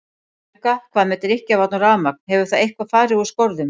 Helga: Hvað með drykkjarvatn og rafmagn, hefur það eitthvað fari úr skorðum?